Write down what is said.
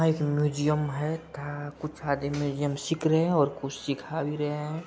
यह एक म्यूजियम है। कुछ आदमी म्युजियम सिख रहे हैं और कुछ सीखा भी रहे हैं।